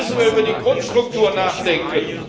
Deshalb müssen wir über die Grundstruktur nachdenken.